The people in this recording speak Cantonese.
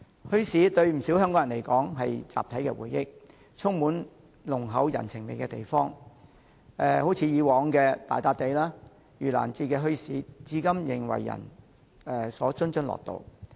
墟市對不少香港人來說是他們的集體回憶，也是充滿濃厚人情味的地方，例如以往的大笪地和盂蘭節墟市至今仍為人津津樂道。